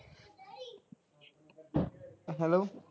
hello